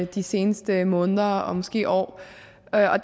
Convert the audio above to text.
de seneste måneder og måske år der